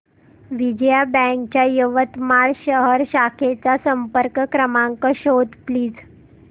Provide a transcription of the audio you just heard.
Vijaya bank च्या यवतमाळ शहर शाखेचा संपर्क क्रमांक शोध प्लीज